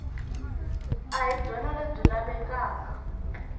a hi byona lebyi lavekaka